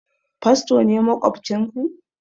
Fasto ne maƙwabcin ku?